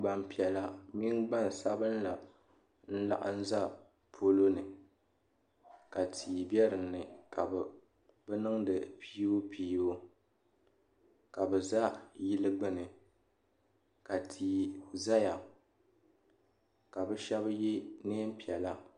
Gbaŋ piɛlla mini gbaŋ sabila n laɣim za polo ni ka tia bɛ dinni ka bi niŋdi piibupiibu ka bi za yili gbuni ka tia zaya ka bi shɛba ye nɛɛn piɛlla.